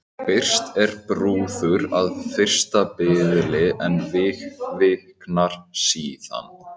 Byrst er brúður að fyrsta biðli en viknar síðan.